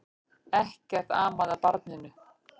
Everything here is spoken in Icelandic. Ekkert amaði að barninu.